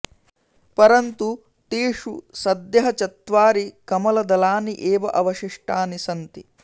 परन्तु तेषु सद्यः चत्वारि कमलदलानि एव अवशिष्टानि सन्ति